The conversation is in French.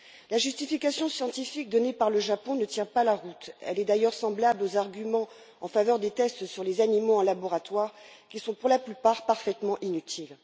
La justification scientifique donnée par le Japon ne tient pas la route, elle est d'ailleurs semblable aux arguments en faveur des tests sur les animaux en laboratoire, qui sont pour la plupart parfaitement inutiles.